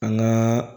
An ŋaa